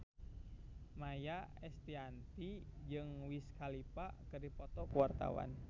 Maia Estianty jeung Wiz Khalifa keur dipoto ku wartawan